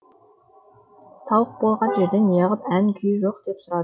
сауық болған жерде неғып ән күй жоқ деп сұрады